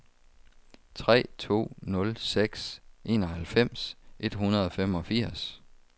tre to nul seks enoghalvfems et hundrede og femogfirs